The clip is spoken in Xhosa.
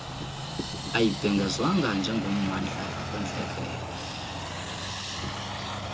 ayibhengezwanga njengommandla wentlekele